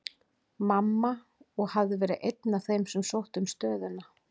Mamma, og hafði verið einn af þeim sem sóttu um stöðuna.